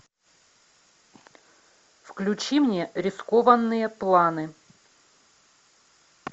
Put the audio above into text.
включи мне рискованные планы